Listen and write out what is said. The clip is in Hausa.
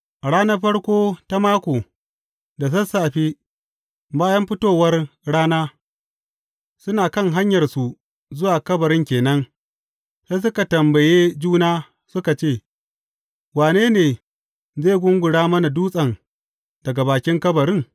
A ranar farko ta mako, da sassafe, bayan fitowar rana, suna kan hanyarsu zuwa kabarin ke nan, sai suka tambaye juna suka ce, Wane ne zai gungura mana dutsen daga bakin kabarin?